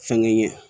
Fɛnkɛ ɲɛ